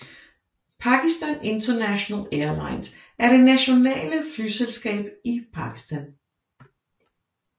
Pakistan International Airlines er det nationale flyselskab i Pakistan